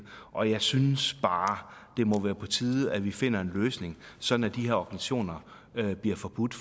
og jeg synes bare det må være på tide at vi finder en løsning sådan at de organisationer bliver forbudt